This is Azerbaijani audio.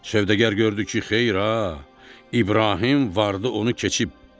Sövdəgər gördü ki, xeyir ha, İbrahim vardı onu keçib.